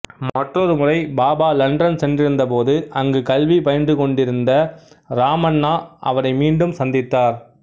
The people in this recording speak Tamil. மற்றொரு முறை பாபா லண்டன் சென்றிருந்த போது அங்கு கல்வி பயின்றுகொண்டிருந்த இராமண்ணா அவரை மீண்டும் சந்தித்தார்